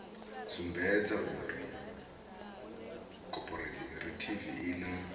sumbedza uri khophorethivi i na